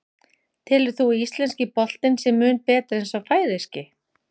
Telur þú að íslenski boltinn sé mun betri en sá færeyski?